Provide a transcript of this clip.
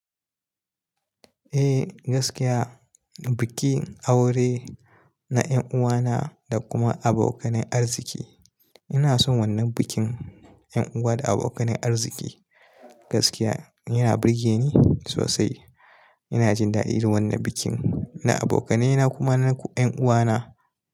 Eh gaskiya, bikin aure na 'yan uwana da kuma abokanai arziki. Ina son wannan bikin 'yan uwa da abokanai arziki. Gaskiya yana burge ni sosai. Ina jin daɗi da wannan bikin na abokanena kuma na 'yan uwana.